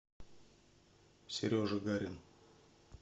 сережа гарин